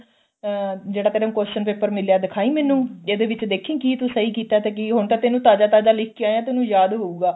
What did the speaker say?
ਅਹ ਜਿਹੜਾ ਤੇਨੂੰ question paper ਮਿਲਿਆ ਦਿਖਾਈ ਮੈਂਨੂੰ ਜਿਹਦੇ ਵਿੱਚ ਦੇਖੀ ਕੀ ਤੂੰ ਸਹੀ ਕੀਤਾ ਤੇ ਕੀ ਹੁਣ ਤੇਨੂੰ ਤਾਜ਼ਾ ਤਾਜ਼ਾ ਲਿਖ ਕੇ ਆਇਆ ਤੇਨੂੰ ਯਾਦ ਹੋਊਗਾ